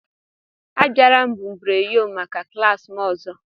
Abịala mbubreyo maka klas m ọzọ!